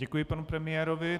Děkuji panu premiérovi.